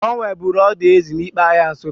Onweburu odo ezi n'Ikpa ahịa Nsuka.